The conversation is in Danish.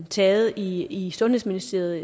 taget i i sundhedsministeriet